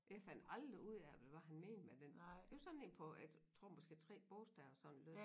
Jeg fandt aldrig ud af hvad det var han mente med det det var sådan en på et jeg tror måske 3 bogstaver sådan lød